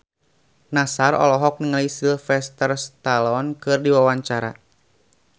Nassar olohok ningali Sylvester Stallone keur diwawancara